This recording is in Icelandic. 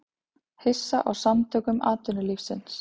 Hissa á Samtökum atvinnulífsins